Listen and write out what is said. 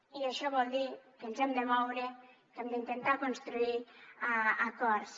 i això vol dir que ens hem de moure que hem d’intentar construir acords